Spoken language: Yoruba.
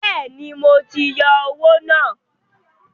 Bẹ́ẹ̀ni, wọ́n ti yọ owó náà.